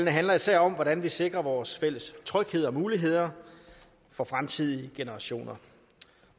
handler især om hvordan vi sikrer vores fælles tryghed og muligheder for fremtidige generationer